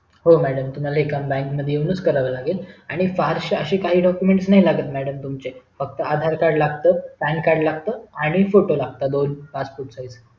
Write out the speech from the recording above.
हो madam हे काम तुम्हाला बँक मध्ये येऊनच करावे लागेल आणि फारशे असं काही doucument लागत नाही madm तुम्हचे फक्त आधार कार्ड लागत pan card लागत आणि फोटो लागतात दोन passport size चे